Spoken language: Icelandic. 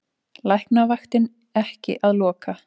Læknavaktin ekki að loka